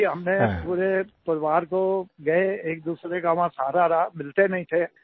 जी हमने पूरे परिवार को गए एकदूसरे का वहां सहारा रहा मिलते नहीं थे